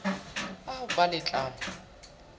a ho ba le tlamo